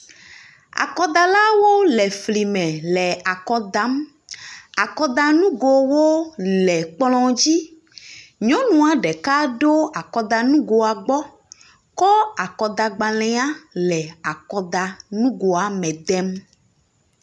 Akɔdalawo le fli me le akɔ dam. Akɔdanugowo le kplɔ̃ dzi. Nyɔnua ɖeka ɖo akɔdanugoa gbɔ kɔ akɔdagbalẽa le akɔdanugoa me dem.